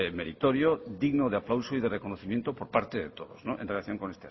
meritorio digno de aplauso y de reconocimiento por parte de todos en relación con